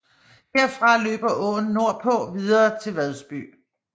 Herfra løber åen nordpå videre til Vadsby